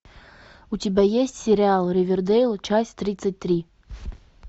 у тебя есть сериал ривердейл часть тридцать три